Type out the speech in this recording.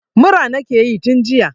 Mura nakeyi tun jiya